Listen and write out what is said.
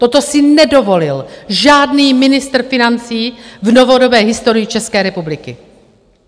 Toto si nedovolil žádný ministr financí v novodobé historii České republiky!